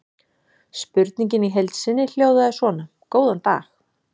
Spurningin í heild sinni hljóðaði svona: Góðan dag.